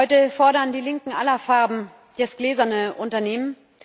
Heute fordern die Linken aller Farben das gläserne Unternehmen.